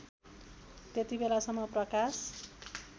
त्यति बेलासम्म प्रकाश